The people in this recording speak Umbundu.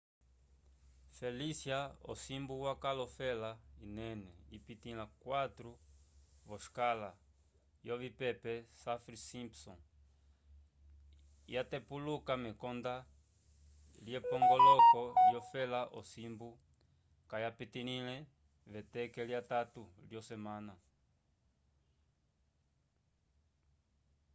felicia osimbu wakaal ofela inene ipitĩla 4 v'oscala yovipepe saffir-simpson yatepuluka mekonda lyepongoloko lyofela osimbu kayapitilĩle veteke lyatatu lyosemana